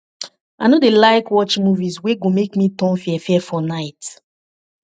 i no dey like watch movies wey go make me turn fearfear for night